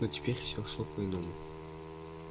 но теперь всё шло по-иному